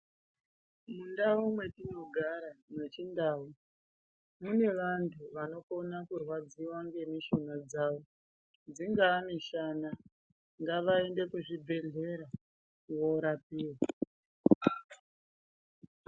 Mundau mwetinogara mwachindau, mune vantu vanokona kurwadziva nemishuna dzavo. Dzingaa mishana ngavaende kuzvibhedhlera korapiva.